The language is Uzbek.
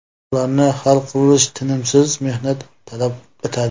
Ularni hal qilish tinimsiz mehnat talab etadi.